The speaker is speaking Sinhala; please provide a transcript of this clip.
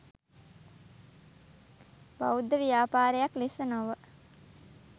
බෞද්ධ ව්‍යාපාරයක් ලෙස නොව